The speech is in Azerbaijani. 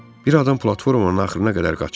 Bir adam platformanın axırına qədər qaçırdı.